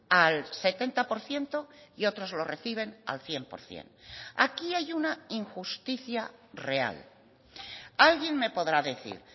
al setenta por ciento y otros lo reciben al cien por ciento aquí hay una injusticia real alguien me podrá decir